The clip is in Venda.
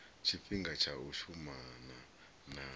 tshifhinga tsha u shumana na